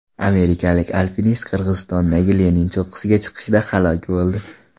Amerikalik alpinist Qirg‘izistondagi Lenin cho‘qqisiga chiqishda halok bo‘ldi.